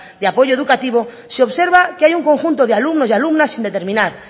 y apoyo educativo se observa que hay un conjunto de alumnos y alumnas sin determinar